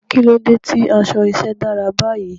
Kí ló dé tí aṣọ iṣẹ́ dára báyìí?